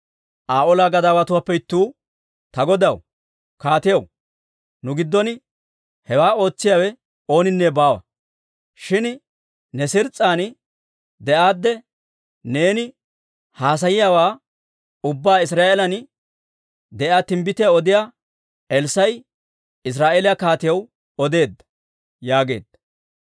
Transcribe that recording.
Aa olaa gadaawatuwaappe ittuu, «Ta godaw, kaatiyaw, nu giddon hewaa ootsiyaawe ooninne baawa. Shin ne siiris'an de'aadde neeni haasayiyaawaa ubbaa Israa'eelan de'iyaa timbbitiyaa odiyaa Elssaa'i Israa'eeliyaa kaatiyaw odeedda» yaageedda.